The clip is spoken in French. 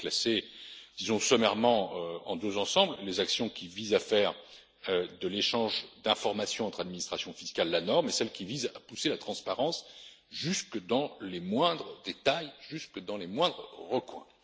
Je vais les classer sommairement en deux ensembles les actions qui visent à faire de l'échange d'informations entre administrations fiscales la norme et celles qui visent à pousser la transparence jusque dans les moindres détails et dans les moindres recoins.